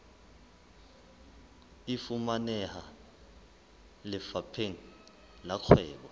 e fumaneha lefapheng la kgwebo